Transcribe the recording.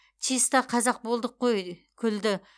чиста қазақ болдық қой күлді